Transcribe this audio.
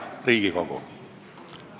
Hea Riigikogu!